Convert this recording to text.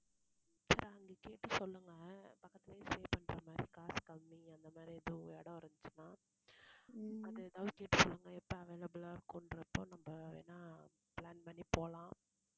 சரி அங்க கேட்டுச் சொல்லுங்க பக்கத்துலயே stay பண்றமாறி காசு கம்மி, அந்த மாதிரி எதுவும் இடம் இருந்துச்சுன்னா அது எதாவது கேட்டு சொல்லுங்க. எப்ப available ஆ இருக்குன்றப்போ நம்ம வேணா plan பண்ணி போலாம்